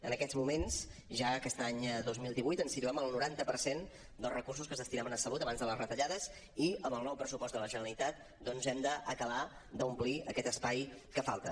en aquests moments ja aquest any dos mil divuit ens situem al noranta per cent dels recursos que es destinaven a salut abans de les retallades i amb el nou pressupost de la generalitat doncs hem d’acabar d’omplir aquest espai que falta